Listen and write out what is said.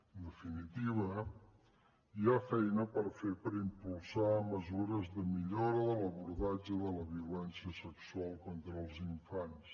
en definitiva hi ha feina per fer per impulsar mesures de millora de l’abordatge de la violència sexual contra els infants